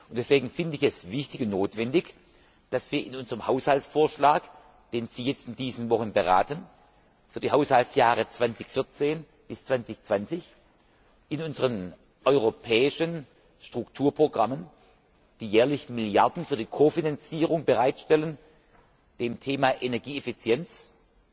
Deswegen finde ich es wichtig und notwendig, dass wir in unserem Haushaltsvorschlag, den Sie in diesen Wochen beraten, für die Haushaltsjahre 2014 bis 2020 in unseren europäischen Strukturprogrammen jährlich Milliarden für die Kofinanzierung bereitstellen und dem Thema Energieeffizienz